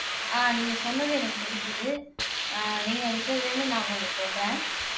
ஆஹ் நீங்க சொன்னது எனக்கு புரிஞ்சுது ஆஹ் நீங்க விட்டதுல இருந்து நான் கொஞ்சம் சொல்றேன்